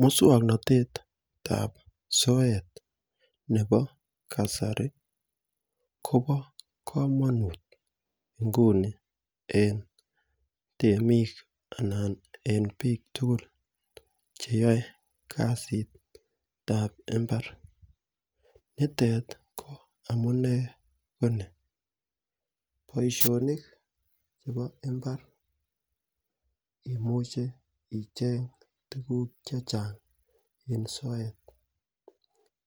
Muswong'natetab soet nebo kasari kobo komonut nguni en temik anan en biik tugul cheyoei kasitab imbar nitet ko amune ko ni boishonik chebo imbar imuchei icheng' tukuk chechang' en soet